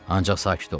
Ancaq sakit olun.